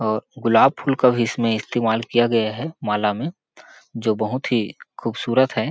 और गुलाब फूल का बीच में इस्तेमाल किया गया है माला में जो बहुत ही खूबसूरत है।